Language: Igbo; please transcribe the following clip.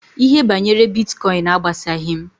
Ihe banyere Bitkọin agbasaghị m.